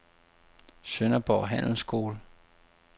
Sønderborg Handelsskole